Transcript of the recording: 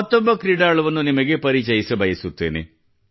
ಮತ್ತೊಬ್ಬ ಕ್ರೀಡಾಳುವನ್ನು ನಿಮಗೆ ಪರಿಚಿಸಬಯಸುತ್ತೇನೆ